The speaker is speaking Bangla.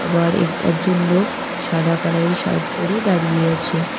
ঘরে একজন লোক সাদা কালারের শার্ট পরে দাঁড়িয়ে আছে।